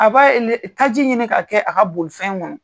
A b'a taji ɲini ka kɛ a ka bolifɛn kɔnɔ.